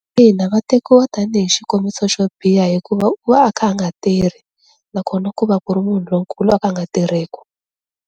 Ina va tekiwa tanihi xikombiso xo biha hikuva u va a kha a nga tirhi nakona ku va ku ri munhu lonkulu a ka a nga tirheki.